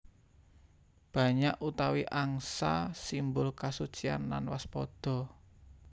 Banyak utawi angsa simbol kasucian lan waspada